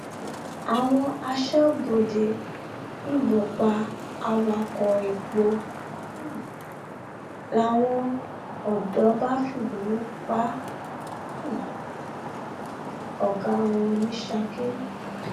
àwọn asọbọdé yìnbọn pa awakọ epo um làwọn odò bá fìbínú pa um ọgá wọn ní saki